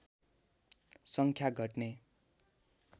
सङ्ख्या घट्ने